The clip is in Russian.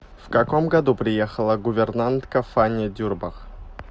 в каком году приехала гувернантка фанни дюрбах